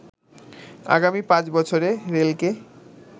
আগামী ৫ বছরে রেলকে